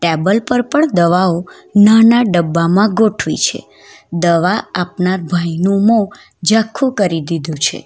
Table પર પણ દવાઓ નાના ડબ્બામાં ગોઠવી છે દવા આપનાર ભાઈનું મોહ ઝાખું કરી દીધું છે.